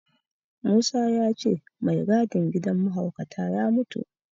Musa ya ce mai gadin gidan mahaukata ya mutu.